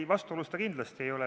Ei, vastuolus ta kindlasti ei ole.